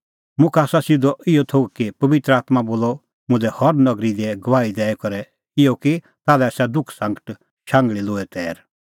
मुखा आसा सिधअ इहअ थोघ कि पबित्र आत्मां बोला मुल्है हर नगरी दी गवाही दैई करै इहअ कि ताल्है आसा दुखसांगट शांघल़ी लोहै तैर